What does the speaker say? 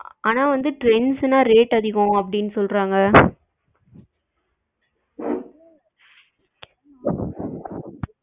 ஆனா வந்து trends னா rate அதிகம் அப்படின்னு சொல்றாங்க